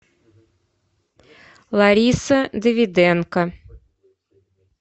лариса давиденко